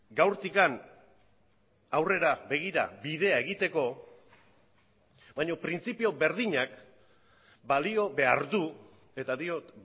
gaurtik aurrera begira bidea egiteko baina printzipio berdinak balio behar du eta diot